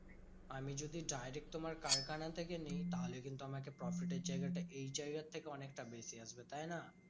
আমি যদি direct তোমার কারখানা থেকে নিই? তাহলে কিন্তু আমাকে profit এর জায়গাটা এই জায়গার থেকে অনেকটা বেশি আসবে তাইনা?